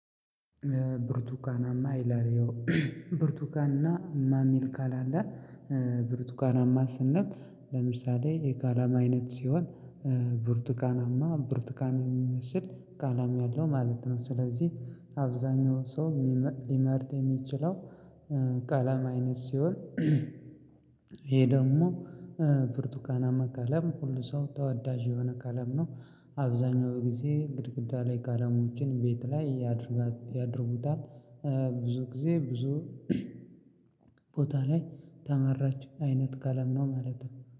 ብርቱካናማ ይላል ያው ብርቱካን እና ማ የሚል ቃል አለ ብርቱካናማ ስንል ለምሳሌ የቀለም አይነት ሲሆን ብርቱካናማ ብርቱካን የሚመስል ቀለም ያለው ማለት ነው። ስለዚህ አብዛኛው ሰው ሊመርጥ የሚችለው ቀለም አይነት ሲሆን። ይሄ ደግሞ ብርቱካናማ ቀለም ሁሉ ሰው ተወዳጅ የሆነ ቀለም ነው። አብዛኛው በጊዜ ግድግዳ ላይ ቀለሞችን ቤት ላይ ያደርጋሉ ያደርጉታል። ብዙ ጊዜ ብዙ ቦታ ላይ ተመራጭ አይነት ቀለም ነው ማለት ነው